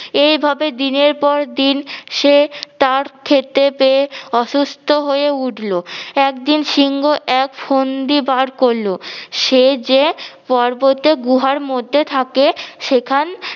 এইভাবে দিনের পর দিন সে তার খেতে পেয়ে অসুস্থ হয়ে উঠলো। একদিন সিংহ এক ফন্দি বার করলো সে যে পর্বতে গুহার মধ্যে থাকে সেখান